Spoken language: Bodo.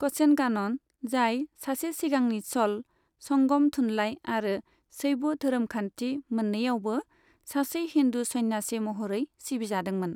क'सेनगानन, जाय सासे सिगांनि च'ल, संगम थुनलाइ आरो शैब धोरोमखान्थि मोन्नैआवबो सासे हिन्दु सन्यासि महरै सिबिजादोंमोन।